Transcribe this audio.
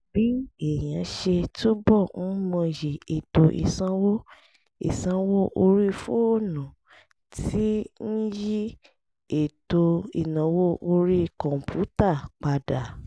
bí èèyàn ṣe túbọ̀ ń mọyì ètò ìsanwó ìsanwó orí fóònù ti ń yí ètò ìnáwó orí kọ̀ǹpútà padà